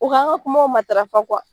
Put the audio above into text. O k'an ka kumaw matarafa